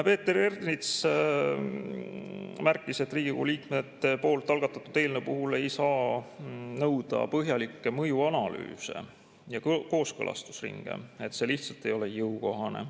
Peeter Ernits märkis, et Riigikogu liikmete algatatud eelnõu puhul ei saa nõuda põhjalikke mõjuanalüüse ja kooskõlastusringe, see lihtsalt ei ole jõukohane.